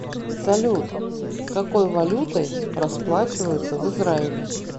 салют какой валютой расплачиваются в израиле